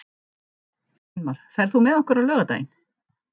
Sveinmar, ferð þú með okkur á laugardaginn?